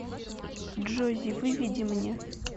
джози выведи мне